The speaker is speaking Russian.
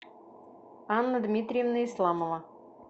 анна дмитриевна исламова